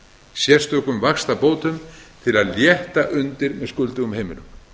sérstökum vaxtabótum til að létta undir með skuldugum heimilum